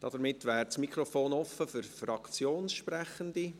Damit wäre das Mikrofon offen für Fraktionssprechende.